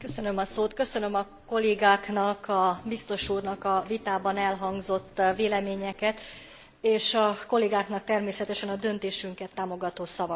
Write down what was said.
Köszönöm a kollégáknak, a biztos úrnak a vitában elhangzott véleményeket, és a kollégáknak természetesen a döntésünket támogató szavakat.